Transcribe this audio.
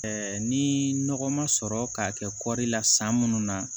ni nɔgɔ ma sɔrɔ k'a kɛ kɔɔri la san munnu na